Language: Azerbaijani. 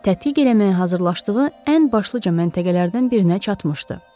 Tədqiq eləməyə hazırlaşdığı ən başlıca məntəqələrdən birinə çatmışdı.